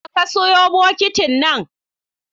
Na wa ka siyo bokitin nan?